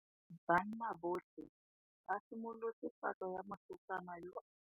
Banna botlhê ba simolotse patlô ya mosetsana yo o timetseng.